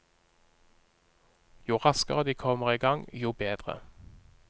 Jo raskere de kommer i gang, jo bedre.